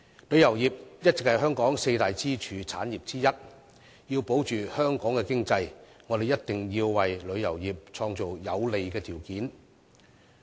旅遊業一直是香港的四大支柱產業之一，要鞏固香港的經濟，我們必須為旅遊業創造有利的條件。